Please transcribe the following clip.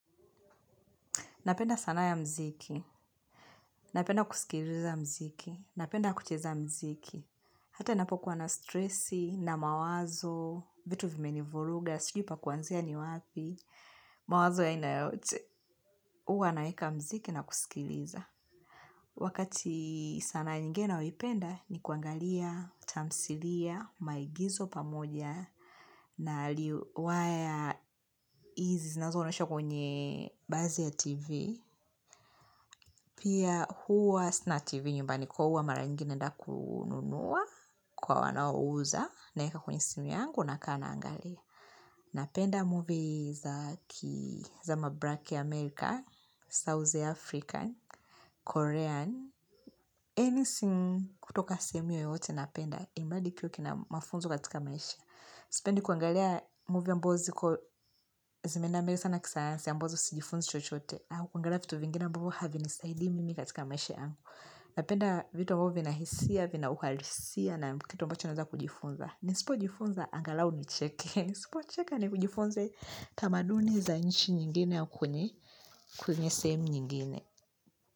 Napenda sana ya mziki, napenda kusikiliza mziki, napenda kucheza mziki. Hata napokuwa na stresi, na mawazo, vitu vimeni vuruga, sijui pa kuanzia ni wapi, mawazo ya aina yote, huwa naeka mziki na kusikiliza. Wakati sanaa nyingene ninayoipebda ni kuangalia, tamthilia, maigizo pamoja, na riwaya hizi zinazo onyeshwa kwenye baadhi ya tv. Pia huwa sina tv nyumbani kwa huwa mara nyingi naeda kununua kwa wanaouza naeka kwenye simu yangu nakaa naangalia Napenda movie za mablack Amerika, South African, Korean Anything kutoka sehemu yoyote napenda imradi kiwe kina mafunzo katika maisha Sipendi kuangalia movie ambayo ziko zimenda mbio sana kisayansi ambozo sijifunzi chochoote au kuangalia vitu vingine ambavyo havi nisaidi mimi katika maisha yangu. Napenda vitu ambavyo vina hisia, vina uhalisia na kitu ambacho naeza kujifunza. Nisipo jifunza, angalau nicheke. Nisipo cheka ni kujifunze tamaduni za nchi nyingine au kwenye, sehemu nyingine.